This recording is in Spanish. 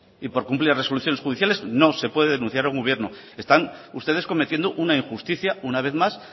y por cumplir las resoluciones judiciales no se puede denunciar a un gobierno están ustedes cometiendo una injusticia una vez más